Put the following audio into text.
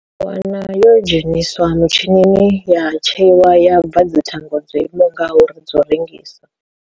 U wana yo dzheniswa mitshinini ya tsheiwa ya bva dzithango dzo imaho ngauri dzo u rengisa.